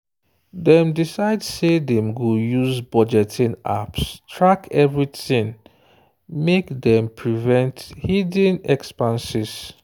dem decide say dem go use budgeting apps track everything make dem prevent hidden expanses.